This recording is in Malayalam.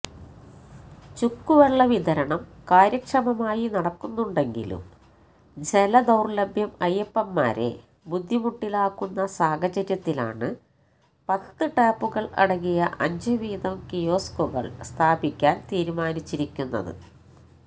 ചുക്കുവെള്ളവിതരണം കാര്യക്ഷമമായി നടക്കുന്നുണ്ടെങ്കിലും ജലദൌര്ലഭ്യം അയ്യപ്പന്മാരെ ബുദ്ധിമുട്ടിലാക്കുന്ന സാഹചര്യത്തിലാണ് പത്ത് ടാപ്പുകള് അടങ്ങിയ അഞ്ചുവീതം കിയോസ്കുകള് സ്ഥാപിക്കാന് തീരുമാനിച്ചിരിക്കുന്നത്